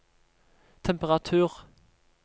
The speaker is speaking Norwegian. temperatur